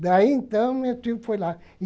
Daí, então, meu tio foi lá.